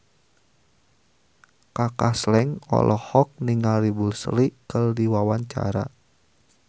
Kaka Slank olohok ningali Bruce Lee keur diwawancara